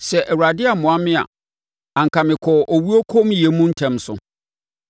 Sɛ Awurade ammoa me a, anka mekɔɔ owuo kommyɛ mu ntɛm so.